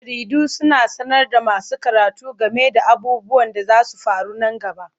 Jaridu suna sanar da masu karatu game da abubuwan da zasu faru nan gaba.